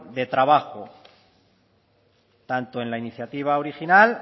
de trabajo tanto en la iniciativa original